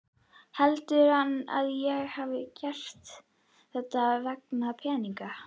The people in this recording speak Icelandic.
Heldur hann að ég hafi gert þetta vegna peninganna?